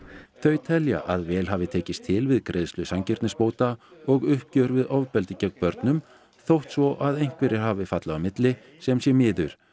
þau telja að vel hafi tekist til við greiðslu sanngirnisbóta og uppgjör við ofbeldi gegn börnum þótt svo að einhverjir hafi fallið á milli sem sé miður